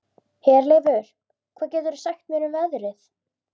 Herleifur, hvað geturðu sagt mér um veðrið?